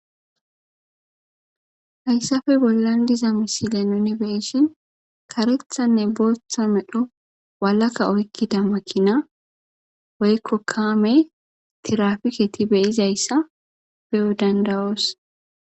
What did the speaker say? Haysappe bollan diza misilen nuni beyishin karethanne bootha medho walaka medho oykida Makina woyko kaame tirafiketi beyozaysa beyo danda'oos.